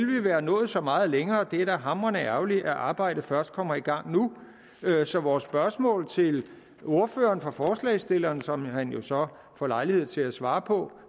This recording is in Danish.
vi være nået så meget længere det er da hamrende ærgerligt at arbejdet først kommer i gang nu så vores spørgsmål til ordføreren for forslagsstillerne som han jo så får lejlighed til at svare på